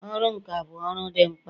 ọrụ nka bụ ọrụ dị mkpa